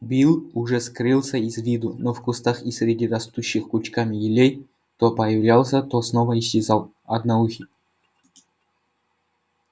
билл уже скрылся из виду но в кустах и среди растущих кучками елей то появлялся то снова исчезал одноухий